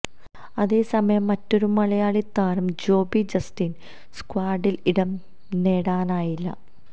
അതേസമയം മറ്റൊരു മലയാളി താരം ജോബി ജസ്റ്റിന് സ്ക്വാഡില് ഇടം നേടാനായില്ല